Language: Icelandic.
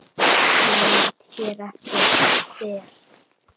Nefnd hér eftir: Der